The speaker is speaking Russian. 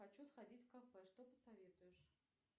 хочу сходить в кафе что посоветуешь